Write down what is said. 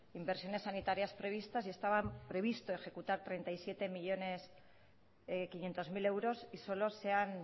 inversiones sanitarias previstas estaba previsto ejecutar treinta y siete coma cinco millónes de euros y solo se han